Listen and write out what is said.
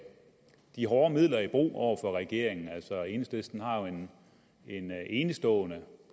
de hårde midler i brug over for regeringen altså enhedslisten har en enestående